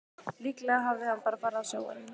Líklega hafði hann bara farið á sjóinn.